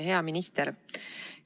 Hea minister!